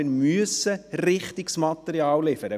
Wir müssen richtiges Material liefern.